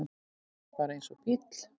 Bara eins og bíll.